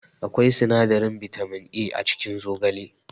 Akwai sinadarin bitamin A a cikin zogale